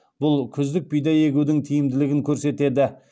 бұл күздік бидай егудің тиімділігін көрсетеді